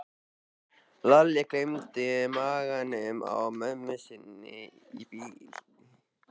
Lalli gleymdi maganum á mömmu sinni í bili.